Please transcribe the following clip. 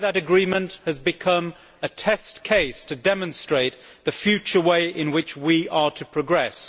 Today that agreement has become a test case to demonstrate the future way in which we are to progress.